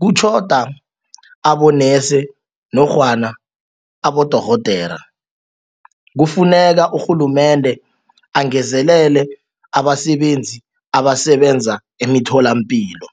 kutjhoda abonesi nofana abodorhodere kufuneka urhulumende angezelele abasebenzi abasebenza emitholampilo.